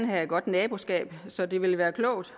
have et godt naboskab så det vil være klogt